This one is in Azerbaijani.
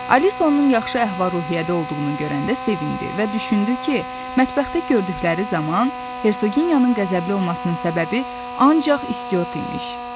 Alisa onun yaxşı əhval-ruhiyyədə olduğunu görəndə sevindi və düşündü ki, mətbəxdə gördükləri zaman Hersoginyanın qəzəbli olmasının səbəbi ancaq istiot imiş.